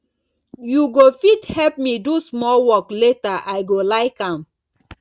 you go fit help me do small work later i go like am